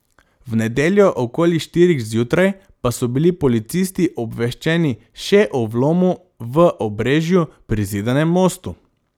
V nedeljo okoli štirih zjutraj pa so bili policisti obveščeni še o vlomu v Obrežju pri Zidanem Mostu.